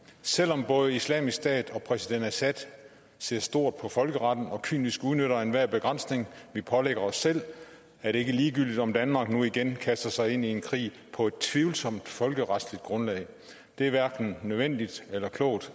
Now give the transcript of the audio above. selv om både islamisk stat og præsident assad ser stort på folkeretten og kynisk udnytter enhver begrænsning vi pålægger os selv er det ikke ligegyldigt om danmark nu igen kaster sig ind i en krig på et tvivlsomt folkeretligt grundlag det er hverken nødvendigt eller klogt